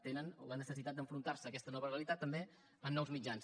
tenen la necessitat d’enfrontar se a aquesta nova realitat també amb nous mitjans